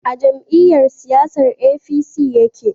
A jam'iyyar siyasan APC ya ke